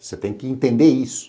Você tem que entender isso.